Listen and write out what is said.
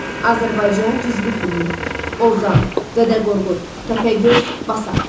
Azərbaycan, cizgi filmi, Ozan, Dədə Qorqud, Təpəgöz, Basat.